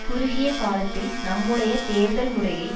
குறுகிய காலத்தில் நம்முடைய தேர்தல் முறையை